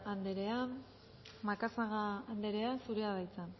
anderea macazaga anderea zurea da hitza